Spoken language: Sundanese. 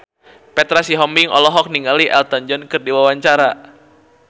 Petra Sihombing olohok ningali Elton John keur diwawancara